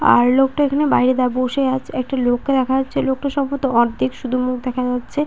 আর লোকটা এখানে বাইরে দা বসে আছে। একটা লোককে দেখা যাচ্ছে। লোকটার সম্বভত অর্ধেক শুধু মুখ দেখা যাচ্ছে।